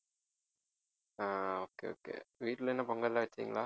ஆஹ் okay okay வீட்ல என்ன பொங்கல்லாம் வச்சீங்களா